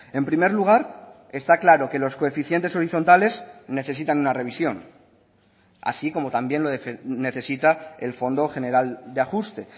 en primer lugar está claro que los coeficientes horizontales necesitan una revisión así como también lo necesita el fondo general de ajuste